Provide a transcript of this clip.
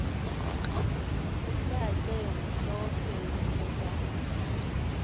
kucace mhlophe ukuba